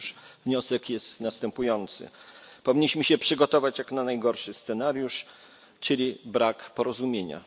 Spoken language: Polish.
Otóż wniosek jest następujący powinniśmy się przygotować na jak najgorszy scenariusz, czyli brak porozumienia.